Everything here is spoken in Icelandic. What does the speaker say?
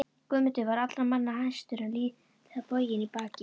Guðmundur var allra manna hæstur en lítillega boginn í baki.